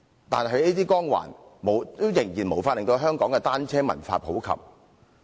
但這些光環，仍然無法令香港的單車文化普及。